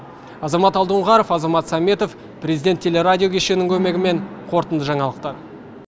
азамат алдоңғаров азамат сәметов президент телерадио кешенінің көмегімен қорытынды жаңалықтар